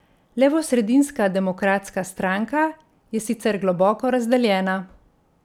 Levosredinska Demokratska stranka je sicer globoko razdeljena.